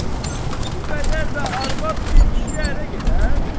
Bu qədər də arvad bir kişiyə ərə gedər?